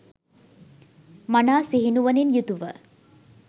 මනා සිහි නුවණින් යුතුව